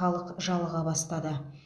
халық жалыға бастады